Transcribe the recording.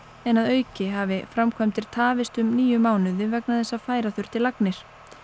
en að auki hafi framkvæmdir tafist um níu mánuði vegna þess að færa þurfti lagnir